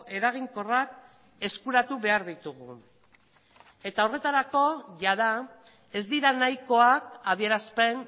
eraginkorrak eskuratu behar ditugu eta horretarako jada ez dira nahikoak adierazpen